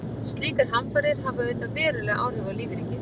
Slíkar hamfarir hafa auðvitað veruleg áhrif á lífríkið.